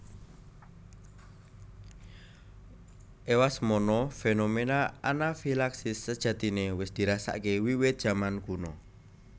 Ewasemono fenomena anafilaksis sejatine wis dirasakake wiwit jaman kuna